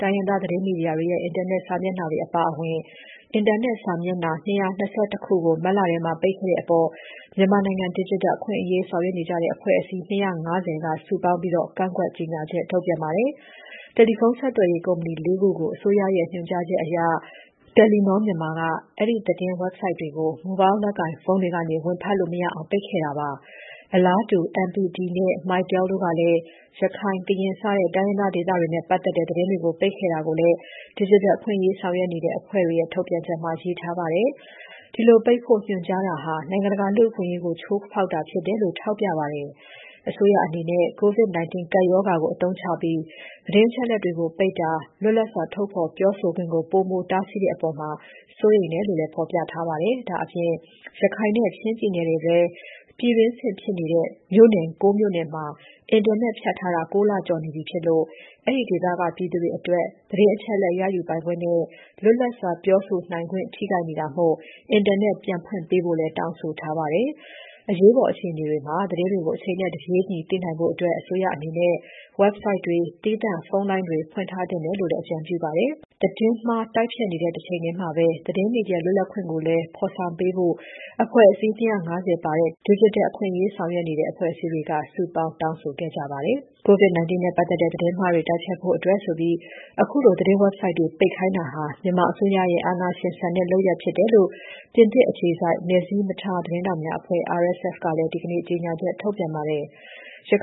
တိုင်းရင်းသား သတင်းမီဒီယာတွေရဲ့ အင်တာနက် စာမျက်နှာတွေ အပါအဝင် အင်တာနက် စာမျက်နှာ ၂၂၁ ခုကို မတ်လထဲမှာ ပိတ်ခဲ့တဲ့အပေါ် မြန်မာနိုင်ငံ ဒစ်ဂျစ်တယ်အခွင့်အရေးဆောင်ရွက်နေကြတဲ့ အဖွဲ့အစည်း ၂၅၀ က စုပေါင်း ကန့်ကွက်တဲ့ ကြေညာချက်ထုတ်ခဲ့ပါတယ်။ တယ်လီဖုန်း ဆက်သွယ်ရေးကုမ္ပဏီ ၄ ခု ကို အစိုးရဲ့ ညွှန်ကြားချက်အရ တယ်လီနောမြန်မာက အဲဒီသတင်း website တွေကို Mobile လက်ကိုင်ဖုန်းတွေကနေ ဝင်ဖတ်လို့ မရအောင် ပိတ်ခဲ့တာပါ။ အလားတူ MPT နဲ့ MyTel တို့ကလည်း ရခိုင်၊ ကရင်စတဲ့ တိုင်းရင်းသားဒေသတွေနဲ့ ပတ်သက်တဲ့ သတင်းတွေ ပိတ်ခဲ့တာကိုလည်း ဒစ်ဂျစ်တယ်အခွင့်အရေးဆောင်ရွက်နေတဲ့ အဖွဲ့တွေရဲ့ထုတ်ပြန်ချက်မှာ ရေးထားပါတယ်။ ဒီလိုပိတ်ဖို့ ညွှန်ကြားတာဟာ နိုင်ငံတကာလူ့အခွင့်အရေးကို ချိုးဖောက်တာဖြစ်တယ်လို့ထောက်ပြပါတယ်။ အစိုးရအနေနဲ့ COVID-19 ကပ်ရောဂါကို အသုံးချပြီး သတင်းအချက်အလက်တွေကို ပိတ်ပင်တာနဲ့ လွတ်လပ်စွာ ထုတ်ဖော်ပြောဆိုခွင့်ကို ပိုမိုတားဆီးတဲ့အပေါ် စိုးရိမ်တယ်လို့ ဖော်ပြထားပါတယ်။ ဒါ့အပြင် ရခိုင်နဲ့ ချင်းပြည်နယ်တွေထဲက ပြည်တွင်းစစ်ဖြစ်နေတဲ့ မြို့နယ် ၉ မြို့နယ်မှာ အင်တာနက်ဖြတ်ထားတာ ၉ လကျော်နေပြီဖြစ်လို့ အဲဒီဒေသတွေက ပြည်သူတွေအနေနဲ့ သတင်းအချက်အလက် ရယူပိုင်ခွင့်နဲ့ လွတ်လပ်စွာပြောဆိုနိုင်ခွင့် ထိခိုက်နေတာမို့ အင်တာနက် ပြန်လည်ဖွင့်ပေးဖို့လည်း တောင်းဆိုထားပါတယ်။ အရေးပေါ် အခြေအနေတွေမှာ သတင်းတွေကို အချိန်နဲ့ တပြေးညီသိနိုင်ဖို့ အစိုးရအနေနဲ့ Website တွေ၊ သီးသန့်ဖုန်းလိုင်းတွေ ဖွင့်ထားသင့်တယ်လို့လည်း အကြံပြုပါတယ်။ သတင်းမှား တိုက်ဖျက်နေတဲ့ တချိန်ထဲမှာ သတင်းမီဒီယာလွတ်လပ်ခွင့်ကိုလည်း ဖော်ဆောင်ပေးဖို့ အဖွဲ့အစည်း ၂၅၀ ပါတဲ့ ဒစ်ဂျစ်တယ်အခွင့်အရေးဆောင်ရွက်နေတဲ့ အဖွဲ့အစည်းတွေက စုပေါင်းတောင်းဆိုကြပါတယ်။ COVID-19 နဲ့ ပတ်သက်တဲ့ သတင်းမှားတွေ တိုက်ဖျက်ဖို့အတွက်ဆိုပြီး ခုလို သတင်း website တွေကို ပိတ်ခိုင်းတာဟာ မြန်မာအစိုးရရဲ့ အာဏာရှင်ဆန်တဲ့လုပ်ရပ်ဖြစ်တယ်လို့ ပြင်သစ်နိုင်ငံ အခြေစိုက် နယ်စည်းမထားသတင်းထောက်များအဖွဲ့ (RSF) ကလည်း ဒီကနေ့ ကြေညာချက်ထုတ်ပြန်ထားပါတယ်။